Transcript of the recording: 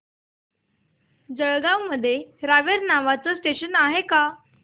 जळगाव मध्ये रावेर नावाचं स्टेशन आहे का